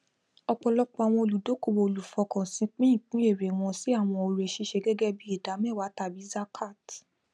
ọpọlọpọ àwọn olùdókòwò olùfọkànsin pín ìpín ère wọn sí àwọn oore ṣíṣe gẹgẹ bí idámẹwàá tàbí zakat